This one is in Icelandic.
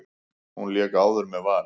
Hún lék áður með Val.